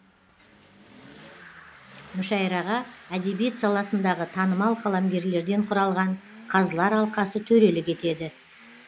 мүшәйраға әдебиет саласындағы танымал қаламгерлерден құралған қазылар алқасы төрелік етеді